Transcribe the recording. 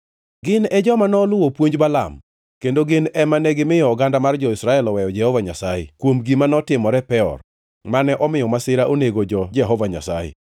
Gin e joma noluwo puonj Balaam kendo gin ema negimiyo oganda mar jo-Israel oweyo Jehova Nyasaye kuom gima notimore Peor, mane omiyo masira onego jo-Jehova Nyasaye.